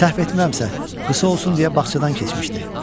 Səhv etmirəmsə, qısa olsun deyə bağçadan keçmişdi.